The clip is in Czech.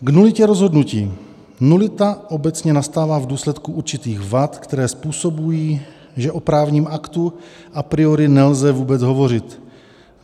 K nulitě rozhodnutí: Nulita obecně nastává v důsledku určitých vad, které způsobují, že o právním aktu a priori nelze vůbec hovořit.